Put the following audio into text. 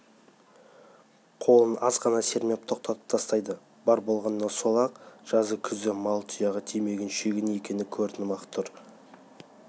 қолын азғана сермеп тоқтатып тастайды бар болғаны сол-ақ жазы-күзі мал тұяғы тимеген шүйгін екені көрініп-ақ тұр